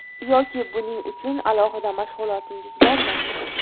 Yoki buning uchun alohida mashg‘ulotingiz bormi?